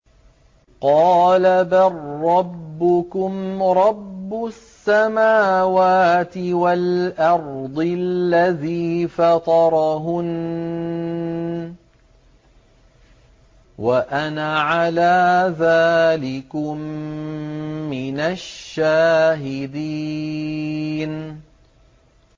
قَالَ بَل رَّبُّكُمْ رَبُّ السَّمَاوَاتِ وَالْأَرْضِ الَّذِي فَطَرَهُنَّ وَأَنَا عَلَىٰ ذَٰلِكُم مِّنَ الشَّاهِدِينَ